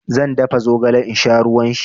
Zan dafa zogale in sha ruwan shi.